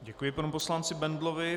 Děkuji panu poslanci Bendlovi.